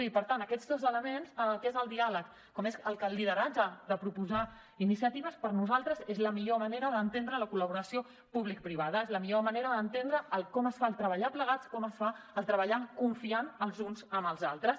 i per tant aquests dos elements tant el que és el diàleg com el que és el lideratge de proposar iniciatives per a nosaltres és la millor manera d’entendre la col·laboració publicoprivada és la millor manera d’entendre el com es fa treballar plegats com es fa treballar confiant els uns en els altres